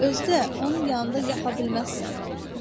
Özü də onun yanında yaxa bilməzsən.